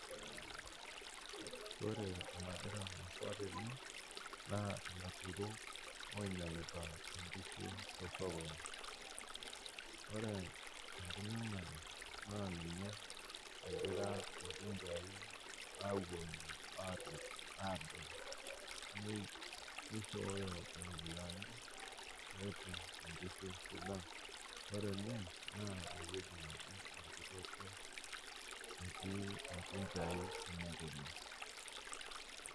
Ore enagira aasa tene naa laturok oinyang'ita inkishu te sokoni. Ore enkinyang'are naa ninye egira lkunchai aweni aadol bei, neishooyo iropiyiani petum inkishu tanaa ore ene naa eweji antiiki olkuroto lkunchaii.